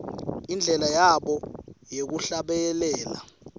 indlela yabo yekuhlabelela